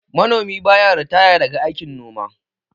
Manomi ba ya ritaya daga aikin noma